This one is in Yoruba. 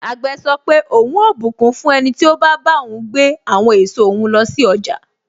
Àgbè sọ pé, ohun ó bùkún fún ẹniti o ba bá ohun gbé àwọn èso òhun lọ sí ọjà.